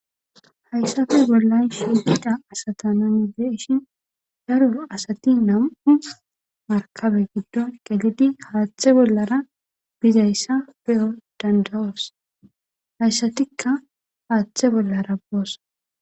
Hayssati bollay shididha asata nani de ishin daro asati nam'u markabe giddon qelidi haaththe bollara bizayssa be7o dandawoos hayssatikka haaththe bollara boosa.